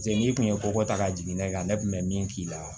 Se n'i tun ye ko ta ka jigin ne kan ne kun bɛ min k'i la